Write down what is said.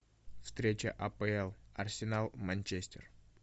встреча апл арсенал манчестер